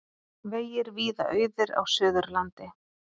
Vegir víða auðir á Suðurlandi